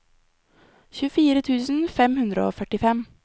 tjuefire tusen fem hundre og førtifem